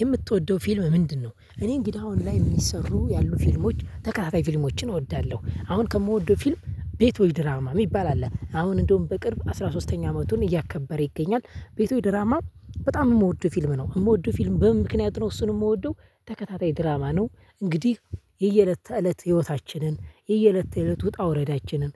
የምትወደው ፊልም ምንድነው? እኔ እንግዲህ አሁን ላይ የሚሰሩ ያሉ ፊልሞች ተከታታይ ፊልሞችን እወዳለሁ አሁን ከምወደው ፊልም ቤቶች ድራማ የሚባል አለ አሁን እንደውም በቅርብ አስራ ሶስተኛ አመቱን እያከበረ ይገኛል ቤቶች ድራማ በጣም የምወደው ፊልም ነው የምወደው ፊልም በምን ምክንያት ነው እሱን የምወደው ተከታታይ ድራማ ነው። እንግዲህ የየእለት ተእለት ህይወታችንን የየእለት ተእለት ውጣ ውረዳችንን